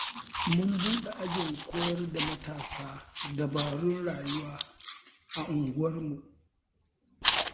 Mun buɗe ajin koyar da matasa dabarun rayuwa a unguwarmu.